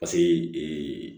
Paseke